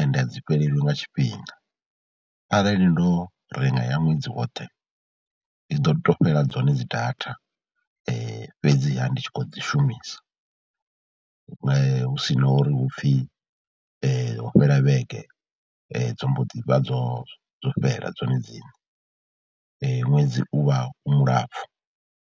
ende a dzi fhelelwe nga tshifhinga, arali ndo renga ya ṅwedzi woṱhe ndi ḓo tou fhela dzone dzi data fhedziha ndi tshi khou dzi shumisa, hu si na uri hu pfhi ho fhela vhege dzo mbo ḓi dzo dzo fhela dzone dziṋe, ṅwedzi u vha u mulapfhu.